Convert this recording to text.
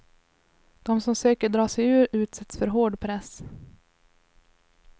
De som söker dra sig ur utsätts för hård press.